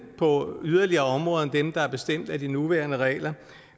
på yderligere områder end dem der er bestemt af de nuværende regler